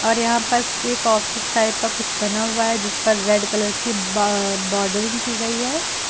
और यहां पर एक ऑफिस टाइप का कुछ बना हुआ है जिस पर रेड कलर की बा बॉडर्रिंग की गई है।